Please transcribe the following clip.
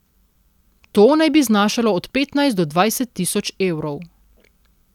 To naj bi znašalo od petnajst do dvajset tisoč evrov.